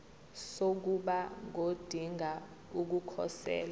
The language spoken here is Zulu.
sokuba ngodinga ukukhosela